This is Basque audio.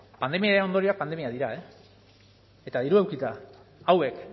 pandemiaren ondorioak pandemiak dira eta dirua edukita hauek